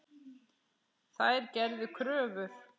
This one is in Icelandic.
Þær gerðu kröfur.